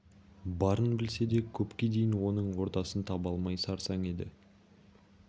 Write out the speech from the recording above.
барын білсе де көпке дейін оның ордасын таба алмай сарсаң еді